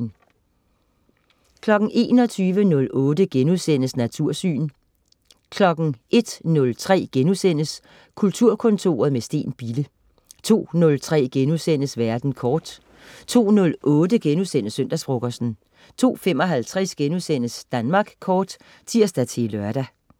21.08 Natursyn* 01.03 Kulturkontoret, med Steen Bille* 02.03 Verden kort* 02.08 Søndagsfrokosten* 02.55 Danmark Kort* (tirs-lør)